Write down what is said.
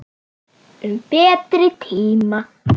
Um betri tíma.